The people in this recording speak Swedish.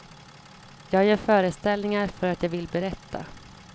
Jag gör föreställningar för att jag vill berätta.